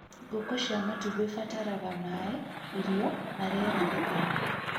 Ngũkũ cia matumbĩ ibataraga maĩ, irio na rĩera rĩtheru